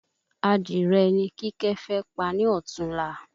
Adìrẹ ni kíkẹ́ fẹ pa ní ọtún la